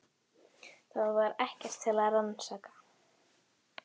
Það var ekkert til að rannsaka.